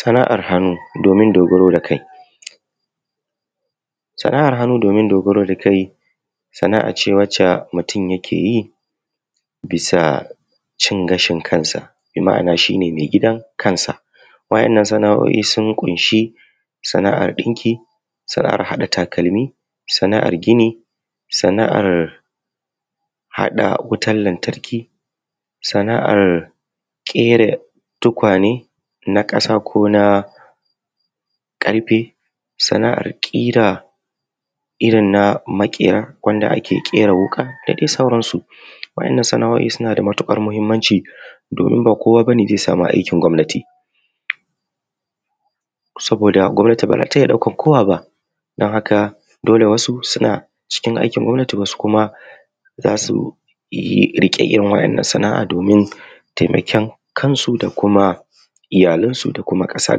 Sana'ar hannu, domin dogaro da kai, sana'ar hannu domin dogaro da Kai. Sana'a ce wacce mutum yake yi bisa cin gashin kansa bi ma'ana shi ne mai gidan kansa. Waɗannan sana'o'i sun ƙunshi sana'ar haɗa takalmi da sana'ar gida, sana'ar wutan lantarki, sana'ar ƙera tukwane na ƙasa ko na ƙarfe, sana'ar ƙira, irin na maƙera na ƙera wuka da dai sauransu. Waɗannan sana'o'i suna da matuƙar muhimmanci domin ba kowa ba ne zai sama aikin gwamnati. Saboda gwamnati ba za ta iya ɗaukar kowa ba. Don haka dole wasu suna cikin aikin gwamnati wasu kuma su riƙe irin waɗannan sana'a don su taimake kansu da kuma iyalansu da kuma ƙasa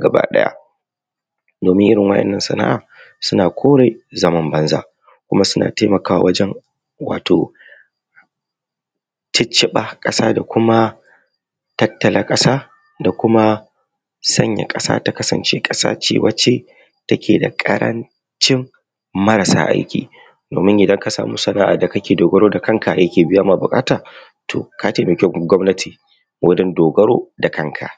gaba ɗaya. Domin Irin wannan sana'a na kore zaman banza kuma suna taimakawa wajen wato cicciɓa ƙasa da kuma tattala ƙasa da kuma sanya ƙasa ta kasance ƙasa ce wacce take da ƙarancin marasa aiki. Domin idan kasan sana'a da kake dogaro da kanka take biya ma buƙata. To ka taimaki gwamnati wurin dogara da kanka.